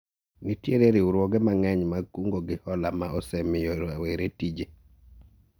Nitiere riwruoge mang'eny mag kungo gi hola ma osemiyo rawere tije